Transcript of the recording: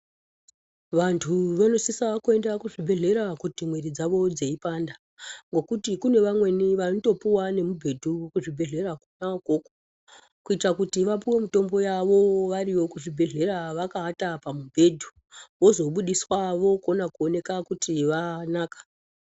Vantu vanosisa kuenda kuzvibhedhlera kuti mwiri dzavo dzeipanda ngokuti kune vamweni vanotkpuwa nemubhedu kuzvibhedhlera kona ikoku kuita kuti vapuwe mutombo yavo variyo kuzvibhedhlera vakawata pamubhedhu vozobudiswa vokona koneka kuti vanaka.